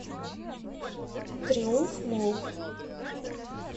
триумф молл